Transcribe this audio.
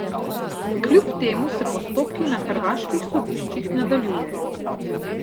Kljub temu se postopki na hrvaških sodiščih nadaljujejo.